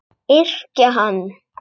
Yrkja hann!